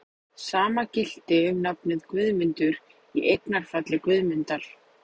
Sama gilti um nafnið Guðmundur, í eignarfalli Guðmundar.